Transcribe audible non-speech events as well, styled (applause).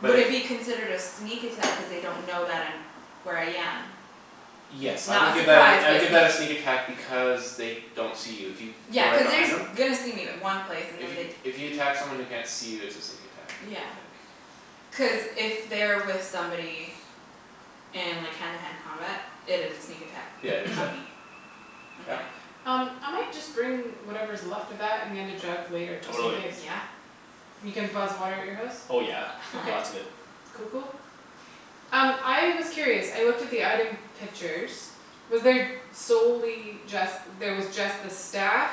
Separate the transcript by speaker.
Speaker 1: But
Speaker 2: would
Speaker 1: if
Speaker 2: it be considered a sneak attack cuz they don't know that I'm where I am It's
Speaker 1: Yes I
Speaker 2: not
Speaker 1: would
Speaker 2: a
Speaker 1: give that
Speaker 2: surprise
Speaker 1: a I would
Speaker 2: but
Speaker 1: give that a
Speaker 2: a sneak
Speaker 1: sneak attack because They don't see you if you
Speaker 2: Yeah
Speaker 1: go right
Speaker 2: cuz they're
Speaker 1: behind
Speaker 2: s-
Speaker 1: them.
Speaker 2: gonna see me in one place and then they
Speaker 1: If you if you attack someone who can't see you it's a sneak attack I
Speaker 2: Yeah
Speaker 1: think.
Speaker 2: cuz if they're with somebody And like hand to hand combat it is a sneak attack
Speaker 1: Yeah just
Speaker 2: on
Speaker 1: that
Speaker 2: me.
Speaker 3: (noise)
Speaker 2: On my
Speaker 1: Yep
Speaker 4: Um I might just bring whatever's left of that and the other jug later, just in
Speaker 3: Totally.
Speaker 4: case.
Speaker 2: Yeah
Speaker 4: And you can buzz water at your house?
Speaker 3: Oh yeah,
Speaker 4: Okay.
Speaker 3: lots of
Speaker 2: (laughs)
Speaker 3: it.
Speaker 4: Cool cool. Um I was curious, I looked at the item pictures Was there solely just there was just the staff